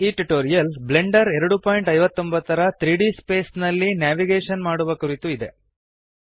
ಈ tutorial Blender 259 ನ 3ಡಿ ಸ್ಪೇಸ್ ನಲ್ಲಿ ನೇವಿಗೇಶನ್ ಮಾಡುವ ಕುರಿತು ಇದೆ